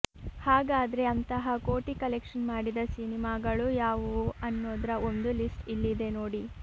ಹಾಗಾದ್ರೆ ಅಂತಹ ಕೋಟಿ ಕಲೆಕ್ಷನ್ ಮಾಡಿದ ಸಿನಿಮಾಗಳು ಯಾವುವು ಅನ್ನೋದ್ರ ಒಂದು ಲಿಸ್ಟ್ ಇಲ್ಲಿದೆ ನೋಡಿ